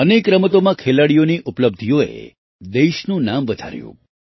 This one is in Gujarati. અનેક રમતોમાં ખેલાડીઓની ઉપલબ્ધિઓએ દેશનું નામ વધાર્યું